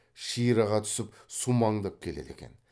ширыға тусіп сумаңдап келеді екен